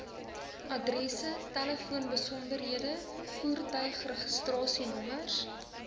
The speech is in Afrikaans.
adresse telefoonbesonderhede voertuigregistrasienommers